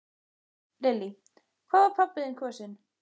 Lillý: Hvað var pabbi þinn kosinn?